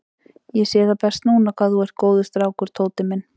Ég sé það best núna hvað þú ert góður strákur, Tóti minn.